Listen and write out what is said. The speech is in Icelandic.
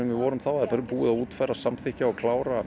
við vorum þá það er búið að útfæra samþykkja og klára